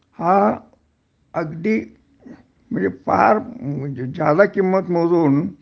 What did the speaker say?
हा अगदी म्हणजे फार ज्यादा किंमत मोजून